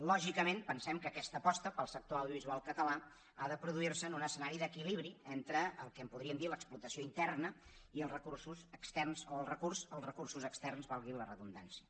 lògicament pensem que aquesta aposta pel sector audiovisual català ha de produir se en un escenari d’equilibri entre el que en podríem dir l’explotació interna i els recursos externs o el recurs als recursos externs valgui la redundància